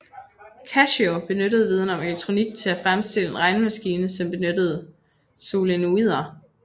Kashio benyttede viden om elektronik til at fremstille en regnemaskine som benyttede solenoider